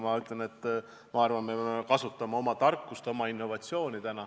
Ma arvan, et me peame kasutama oma tarkust ja innovatsiooni.